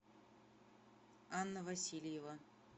анна васильева